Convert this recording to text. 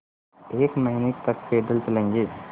एक महीने तक पैदल चलेंगे